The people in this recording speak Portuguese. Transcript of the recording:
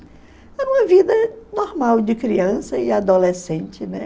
Era uma vida normal de criança e adolescente, né?